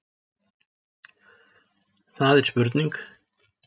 Það er spurning!